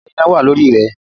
Ǹjẹ́ iná wà lórí rẹ?